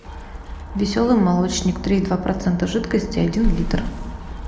веселый молочник три и два процента жидкости один литр